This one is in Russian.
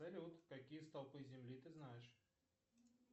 салют какие столпы земли ты знаешь